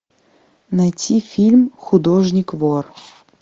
найти фильм художник вор